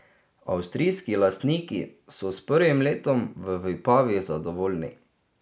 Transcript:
Avstrijski lastniki so s prvim letom v Vipavi zadovoljni.